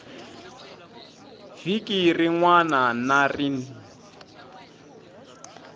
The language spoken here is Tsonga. vhiki rin wana na rin